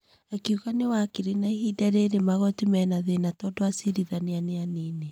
Akiuga nĩ wakiri na ihinda rĩrĩ magoti mena thĩna tondũ acirithania nĩ anini.